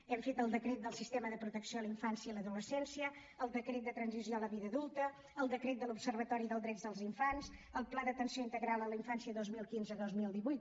hem fet el decret del sistema de protecció a la infància i l’adolescència el decret de transició a la vida adulta el decret de l’observatori dels drets de la infància el pla d’atenció integral a la infància dos mil quinze dos mil divuit